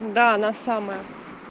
да она самая